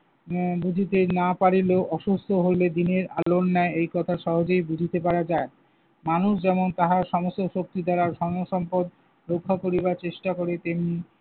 উম বুঝিতে না পারিলেও অসুস্থ হইলে দিনের আলোর ন্যায় এই কথা সহজে বুঝিতে পারা যায়। মানুষ যেমন তাহার সমস্ত শক্তি দ্বারা ধন-সম্পদ রক্ষা করিবার চেষ্টা করে তেমনি